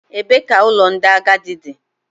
Ebee ka ụlọ ndị agadi dị?